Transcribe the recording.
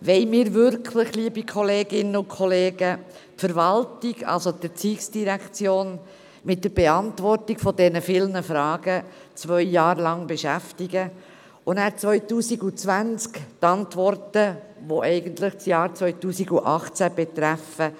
Wollen wir, liebe Kolleginnen und Kollegen, die Verwaltung, also die ERZ, mit der Beantwortung dieser vielen Fragen wirklich zwei Jahre beschäftigen und 2020 die Antworten erhalten, die eigentlich das Jahr 2018 betreffen?